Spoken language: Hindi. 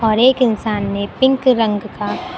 और एक इंसान ने पिंक रंग का--